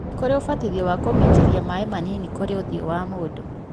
na nĩkũrĩ ũbatithio wa kũminjĩria maĩ manini kũrĩ ũthio wa mũndũ